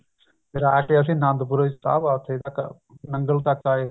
ਫ਼ੇਰ ਆ ਕੇ ਅਸੀਂ ਆਨੰਦਪੁਰ ਸਾਹਿਬ ਆ ਉੱਥੇ ਆਹ ਨੰਗਲ ਤੱਕ ਆਏ